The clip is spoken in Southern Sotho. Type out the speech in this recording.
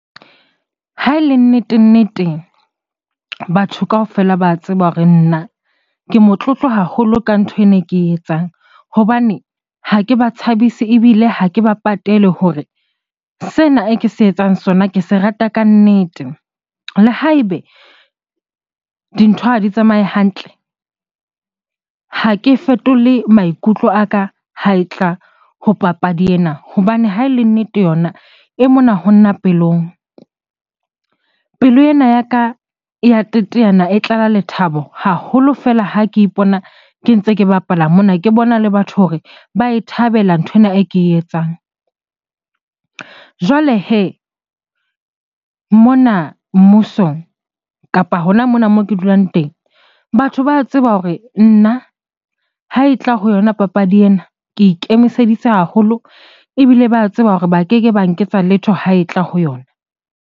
Ha e le nnete-nnete, batho kaofela ba tseba hore nna ke motlotlo haholo ka ntho ena e ke e etsang. Hobane ha ke ba tshabise ebile ha ke ba patele hore sena e ke se etsang sona ke se rata kannete. Le ha ebe dintho ha di tsamaye hantle, ha ke fetole maikutlo a ka ha e tla ho papadi ena hobane ha e le nnete yona e mona ho nna pelong. Pelo ena ya ka ya teteana, e tlala lethabo haholo fela ha ke ipona ke ntse ke bapala mona, ke bona le batho hore ba e thabela nthwena e ke e etsang. Jwale hee mona mmusong kapa hona mona moo ke dulang teng, batho ba tseba hore nna ha e tla ho yona papadi ena ke ikemiseditse haholo ebile ba tseba hore ba keke ba nketsa letho ha e tla ho yona.